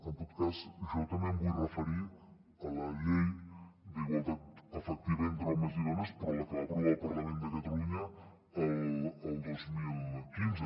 en tot cas jo també em vull referir a la llei d’igualtat efectiva entre homes i dones però la que va aprovar el parlament de catalunya el dos mil quinze